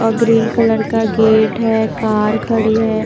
अ green colour का gate है car खड़ी है।